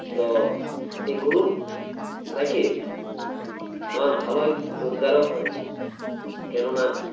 তো এই গরুর রাইখে আমার ভালোই রোজগার ও হয় কেননা